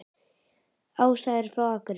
Ása er frá Akureyri.